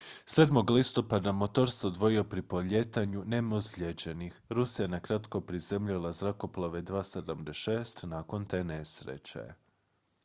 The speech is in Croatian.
7. listopada motor se odvojio pri polijetanju nema ozlijeđenih rusija je nakratko prizemljila zrakoplove ii-76 nakon te nesreće